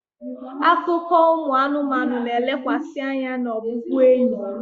Akụkọ ụmụ anụmanụ na-elekwasị anya na ọbụbụenyi.